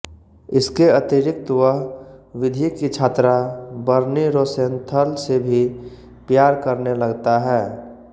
इसके अतिरिक्त वह विधि की छात्रा बर्नी रोसेंथल से भी प्यार करने लगता है